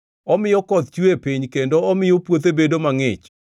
Omiyo koth chue e piny; kendo omiyo puothe bedo mangʼich.